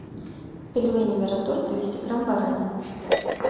пельмени мираторг двести грамм баранина